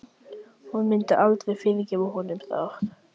Hún myndi aldrei fyrirgefa honum það.